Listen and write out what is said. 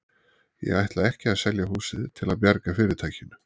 Ég ætla ekki að selja húsið til að bjarga fyrirtækinu.